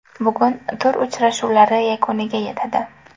Bugun tur uchrashuvlari yakuniga yetadi.